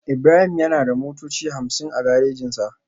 Ibrahim yana da motoci hamsin a garejinsa